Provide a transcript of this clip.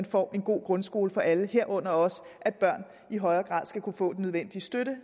får en god grundskole for alle herunder også at børn i højere grad skal kunne få den nødvendige støtte